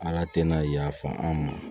Ala tɛna yafa an ma